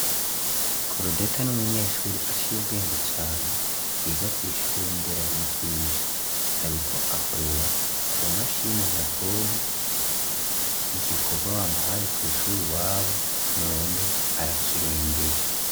Crodeta n'umunyeshure aciye ubwenge cane yiga kw'ishure nderabigisha ariko akorera ku mashini nyabwonko, igikorwa bamuhaye kw'ishure iwabo none arakirembeje